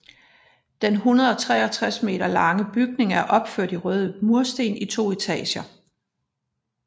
Den 163 m lange bygning er opført i røde mursten i to etager